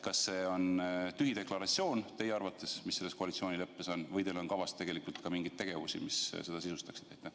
Kas see on teie arvates tühi deklaratsioon või on teil kavas ka mingeid tegevusi, mis seda sisustaksid?